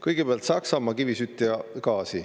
Kõigepealt Saksamaa ning kivisüsi ja gaas.